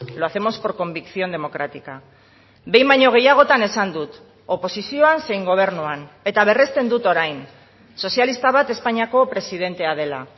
lo hacemos por convicción democrática behin baino gehiagotan esan dut oposizioan zein gobernuan eta berresten dut orain sozialista bat espainiako presidentea dela